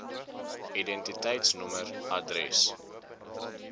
id nommer adres